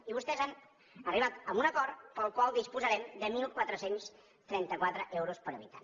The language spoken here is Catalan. i vostès han arribat a un acord pel qual disposarem de catorze trenta quatre euros per habitant